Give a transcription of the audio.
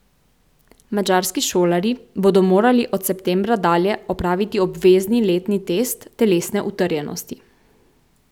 Madžarski šolarji bodo morali od septembra dalje opraviti obvezni letni test telesne utrjenosti.